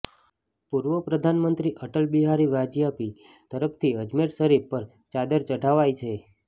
પૂર્વ પ્રધાનમંત્રી અટલ બિહારી વાજપેયી તરફથી અજમેર શરીફ પર ચાદર ચઢાવાઈ છે